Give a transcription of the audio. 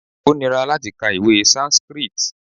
Ó níra láti ka ìwé Sanskrit.